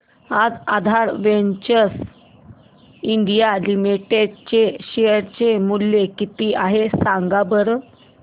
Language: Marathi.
आज आधार वेंचर्स इंडिया लिमिटेड चे शेअर चे मूल्य किती आहे सांगा बरं